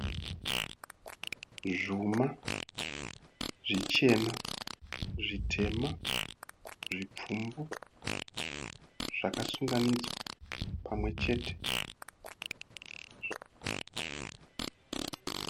Zvuma zvichena, zvitema, zvipfumbu zvakasunganidzwa pamwechete.